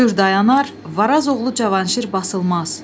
Kür dayanar, Varaz oğlu Cavanşir basılmaz.